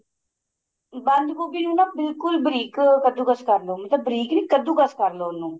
ਬੰਦ ਗੋਭੀ ਨੂੰ ਨਾ ਬਿਲਕੁਲ ਬਰੀਕ ਕਦੂ ਕਸ ਕਰ ਲੋ ਬਰੀਕ ਕਦੂ ਕਸ ਕਰ ਲੋ ਉਹਨੂੰ